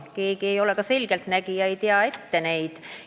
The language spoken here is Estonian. Keegi ei ole selgeltnägija ja me tea ette, mis elu toob.